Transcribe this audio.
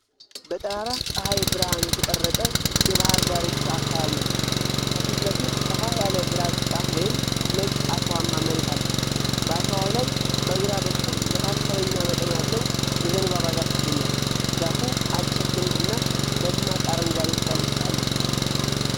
በጠራራ ፀሐይ ብርሃን የተቀረፀ የባህር ዳርቻ አካባቢን ነው። ከፊት ለፊት ሰፋ ያለ ግራጫ ወይም ነጭ አሸዋማ መሬት አለ። በአሸዋው ላይ በግራ በኩል መካከለኛ መጠን ያለው የዘንባባ ዛፍ ይገኛል። ዛፉ አጭር ግንድ እና ደማቅ አረንጓዴ ቅጠሎች አሉት።